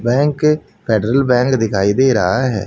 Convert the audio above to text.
Bank federal bank दिखाई दे रहा है।